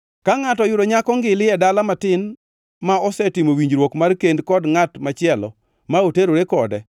Ka ngʼato oyudo nyako ngili e dala matin ma osetimo winjruok mar kend kod ngʼat machielo ma oterore kode,